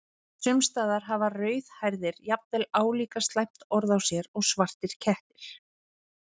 Sums staðar hafa rauðhærðir jafnvel álíka slæmt orð á sér og svartir kettir.